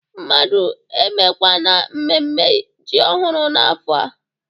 Mmadụ emekwana mmemme ji ọhụrụ n'afọ a?